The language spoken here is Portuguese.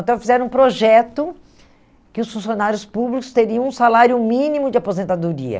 Então fizeram um projeto que os funcionários públicos teriam um salário mínimo de aposentadoria.